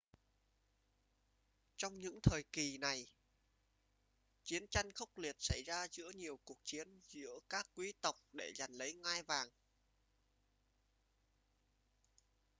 trong những thời kỳ này chiến tranh khốc liệt xảy ra giữa nhiều cuộc chiến giữa các quý tộc để giành lấy ngai vàng